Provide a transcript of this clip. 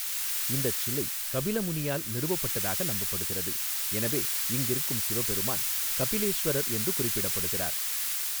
இந்தச் சிலை கபில முனியால் நிறுவப்பட்டதாக நம்பப்படுகிறது, எனவே இங்கிருக்கும் சிவபெருமான் கபிலேஸ்வரர் என்று குறிப்பிடப்படுகிறார்.